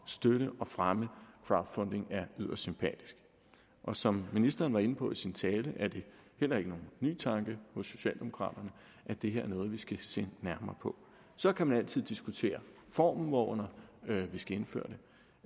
støtte og fremme crowdfunding er yderst sympatisk og som ministeren var inde på i sin tale er det heller ikke nogen ny tanke hos socialdemokraterne at det her er noget vi skal se nærmere på så kan man altid diskutere formen hvorunder vi skal indføre